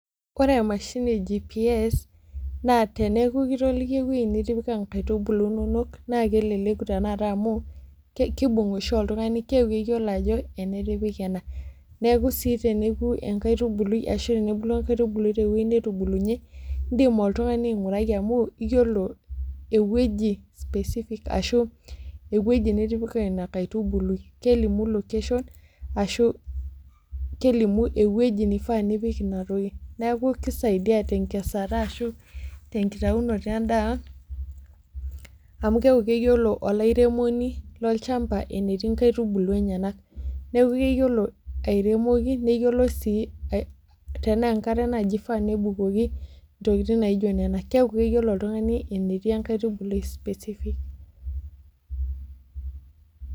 Wore emashini GPS naa teneeku kitolikio ewoji nitipika inkaitubulu inonok naa keleleku tenakata amu, kiimbung oshi oltungani keeku keyiolo ajo, ene atipika ena. Neeku sii teneeku enkaitubului ashu tenebulu enkaitubului tewoji natubulunye, iindim oltungani aingurai amu iyiolo ewoji specific ashu ewoji nitipika ina kaitubului, kelimu location, ashu kelimu ewoji naifaa pee ipik ina toki. Neeku kisaidia tenkesare ashu tenkitaunoto endaa amu keeku keyiolo olairemoni lolchamba enetii inkaitubulu enyanak. Neeku keyiolo airemoki, neyiolo sii tenaa enkare naaji ifaa nebukoki intokitin naaijo niana. Keeku keyiolo oltungani enetii enkaitubului specific.